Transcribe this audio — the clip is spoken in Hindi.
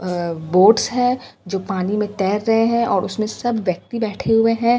अ बोट्स हैं जो पानी में तैर रहे हैं और उसमें सब व्यक्ति बैठे हुए हैं।